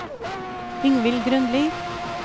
Ingvild Grønli